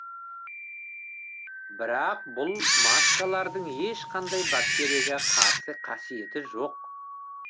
бірақ бұл маскалардың ешқандай бактерияға қарсы қасиеті жоқ